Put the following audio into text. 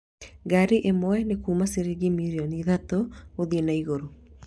Ngaari ĩmwe nĩ kuuma ciringi mirioni ithatũ gũthiĩ na igũrũ